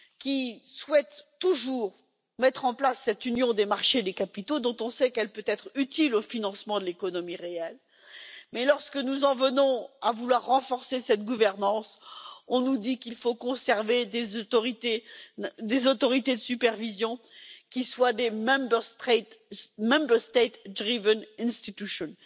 Celui ci souhaite toujours mettre en place cette union des marchés des capitaux, dont on sait qu'elle peut être utile au financement de l'économie réelle, mais lorsque nous voulons renforcer cette gouvernance, on nous dit qu'il faut conserver des autorités de supervision qui soient des Member States driven institutions